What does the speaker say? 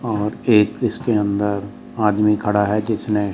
और एक इसके अंदर आदमी खड़ा है जिसने--